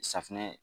Safinɛ